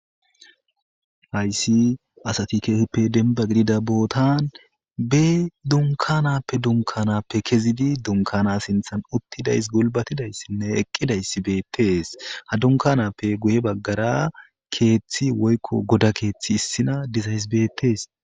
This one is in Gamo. Hayssi asati keesippe denba gidida bootan be dunkanappe dunkanappe kezidi dunkana sinthan uttidays gulbatidayssinne eqqidayssi beettees ha dunkanappe guye baggara keeththi woykko goda keeththi issina dizayss beettees.